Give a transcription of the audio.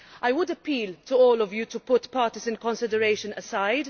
I would appeal to all of you to put partisan considerations aside.